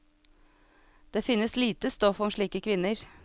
Det finnes lite stoff om slike kvinner.